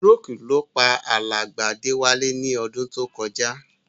Stroke ló pa alàgbà Déwálé ni odún to kojá